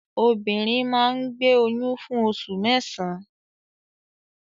Obìnrin máa ń gbé oyún fún oṣù mẹ́sàn-án.